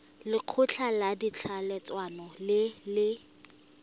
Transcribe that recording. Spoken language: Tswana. lekgotla la ditlhaeletsano le le